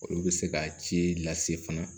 Olu bɛ se ka ci lase fana